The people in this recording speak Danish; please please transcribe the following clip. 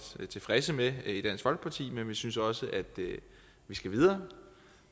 tilfredse med i dansk folkeparti men vi synes også at vi skal videre